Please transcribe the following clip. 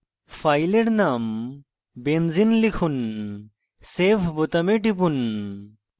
file name benzene লিখুন save বোতামে টিপুন